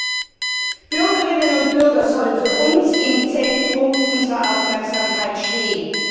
Denn die Bürgerinnern und Bürger sollen für uns im Zentrum unserer Aufmerksamkeit stehen.